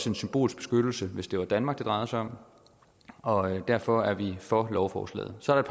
en symbolsk beskyttelse hvis det var danmark det drejede sig om og derfor er vi for lovforslaget så er